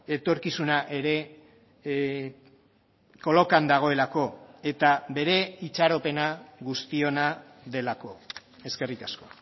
etorkizuna ere kolokan dagoelako eta bere itxaropena guztiona delako eskerrik asko